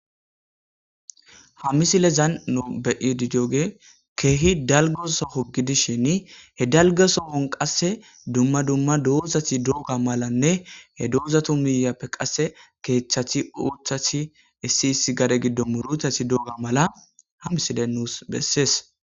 ha misilezan no beyididooge keehi dalgoso hogidishin he dalgesohon qasse dumma dumma doozati dooga malanne he doozatu miyappe qasse keeththathi oothathi issi issi gade giddo muruthati dooga mala ha misile nuus bessees